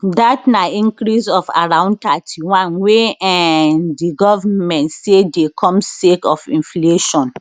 dat na increase of around 31 wey um di govment say dey come sake of inflation